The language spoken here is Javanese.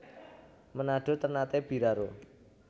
Menado Ternate Biraro